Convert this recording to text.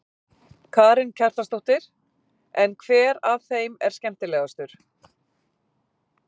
Karen Kjartansdóttir: En hver af þeim er skemmtilegastur?